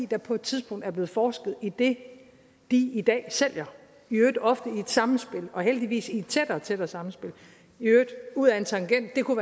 der på et tidspunkt er blevet forsket i det de i dag sælger i øvrigt ofte i et samspil og heldigvis i et tættere og tættere samspil og i øvrigt ud ad en tangent kunne